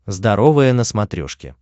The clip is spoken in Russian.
здоровое на смотрешке